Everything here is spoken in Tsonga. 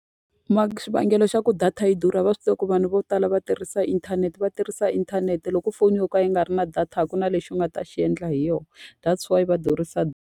Xivangelo xa ku data yi durha va swi tiva ku vanhu vo tala va tirhisa inthanete va tirhisa inthanete. Loko foni yo ka yi nga ri na data a ku na lexi u nga ta xi endla hi yona. That's why va durhisa data.